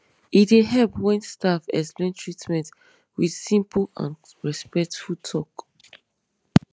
e dey help when staff explain treatment with simple and respectful talk